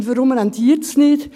Und warum rentiert es nicht?